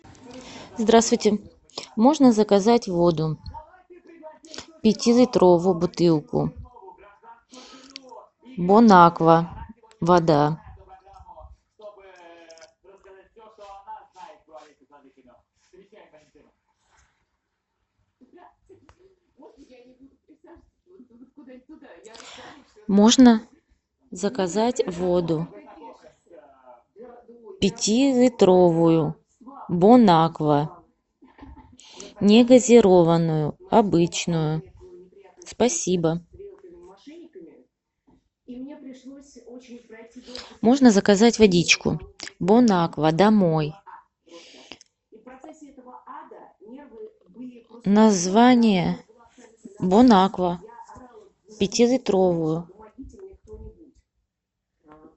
здравствуйте можно заказать воду пятилитровую бутылку бонаква вода можно заказать воду пятилитровую бонаква негазированную обычную спасибо модно заказать водичку бонаква домой название бонаква пятилитровую